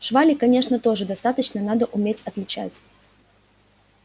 швали конечно тоже достаточно надо уметь отличать